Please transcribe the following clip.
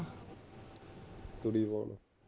ਤੂੜੀ ਪਾਣ